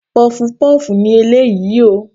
Pọfupọ́ọ̀fù ni eléyìí o.